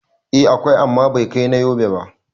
Eh, akwai amma bai kai na Yobe ba